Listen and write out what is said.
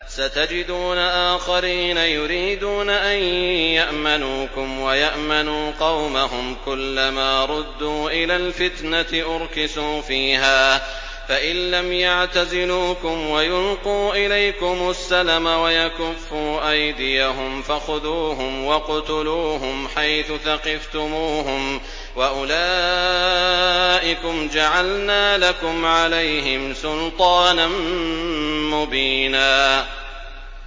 سَتَجِدُونَ آخَرِينَ يُرِيدُونَ أَن يَأْمَنُوكُمْ وَيَأْمَنُوا قَوْمَهُمْ كُلَّ مَا رُدُّوا إِلَى الْفِتْنَةِ أُرْكِسُوا فِيهَا ۚ فَإِن لَّمْ يَعْتَزِلُوكُمْ وَيُلْقُوا إِلَيْكُمُ السَّلَمَ وَيَكُفُّوا أَيْدِيَهُمْ فَخُذُوهُمْ وَاقْتُلُوهُمْ حَيْثُ ثَقِفْتُمُوهُمْ ۚ وَأُولَٰئِكُمْ جَعَلْنَا لَكُمْ عَلَيْهِمْ سُلْطَانًا مُّبِينًا